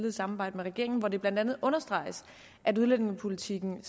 i samarbejde med regeringen hvor det blandt andet understreges at udlændingepolitikken